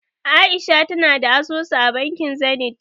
A'isha tana da asusu a bankin Zenith.